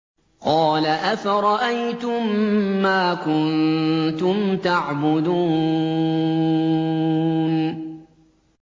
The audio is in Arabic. قَالَ أَفَرَأَيْتُم مَّا كُنتُمْ تَعْبُدُونَ